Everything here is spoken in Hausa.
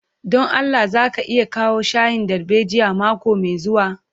Don Allah za ka iya kawo shayin darbejiyan mako mai zuwa.